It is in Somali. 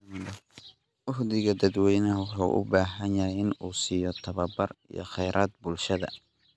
Uhdhigga dadweynaha wuxuu u baahan yahay in uu siiyo tababar iyo khayraad bulshada.